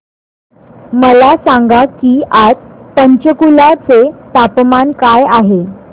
मला सांगा की आज पंचकुला चे तापमान काय आहे